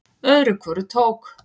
Öðru hvoru tók